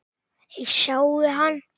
Ég sjái hann.